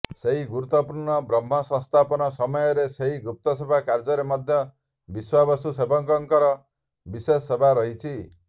ସେହି ଗୁରୁତ୍ୱପୂର୍ଣ୍ଣ ବ୍ରହ୍ମସଂସ୍ଥାପନ ସମୟରେ ସେହି ଗୁପ୍ତ ସେବା କାର୍ଯ୍ୟରେ ମଧ୍ୟ ବିଶ୍ୱାବସୁ ସେବକଙ୍କର ବିଶେଷ ସେବା ରହିଛି